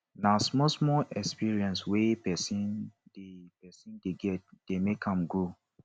na small small experience wey person dey person dey get dey make am grow